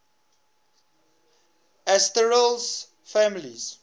asterales families